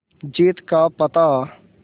जीत का पता